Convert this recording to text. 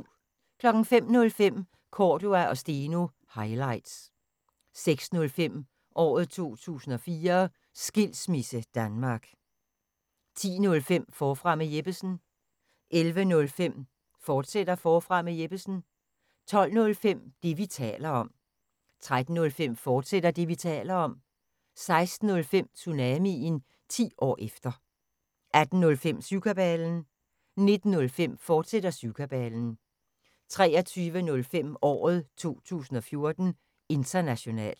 05:05: Cordua & Steno – highlights 06:05: Året 2014: Skilsmisse Danmark 10:05: Forfra med Jeppesen 11:05: Forfra med Jeppesen, fortsat 12:05: Det, vi taler om 13:05: Det, vi taler om, fortsat 16:05: Tsunamien – 10 år efter 18:05: Syvkabalen 19:05: Syvkabalen, fortsat 23:05: Året 2014: International